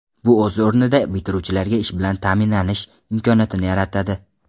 Bu o‘z o‘rnida bitiruvchilarga ish bilan ta’minanish imkoniyatini yaratadi.